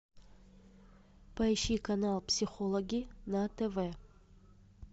поищи канал психологи на тв